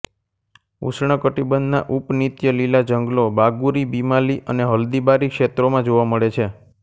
ઉષ્ણકટિબંધના ઉપનીત્યલીલા જંગલો બાગુરી બિમાલી અને હલ્દીબારી ક્ષેત્રોમાં જોવા મળે છે